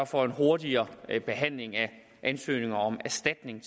for en hurtigere behandling af ansøgninger om erstatning